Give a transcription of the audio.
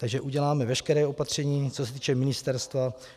Takže uděláme veškerá opatření, co se týče ministerstva.